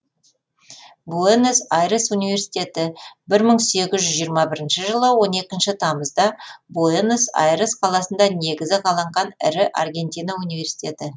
буэнос айрес университеті бір мың сегіз жүз жиырма бірінші жылы он екінші тамызда буэнос айрес қаласында негізі қаланған ірі аргентина университеті